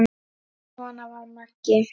Svona var Maggi.